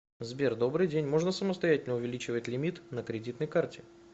сбер добрый день можно самостоятельно увеличивать лимит на кредитной карте